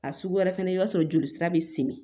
A sugu wɛrɛ fɛnɛ i b'a sɔrɔ joli sira be simi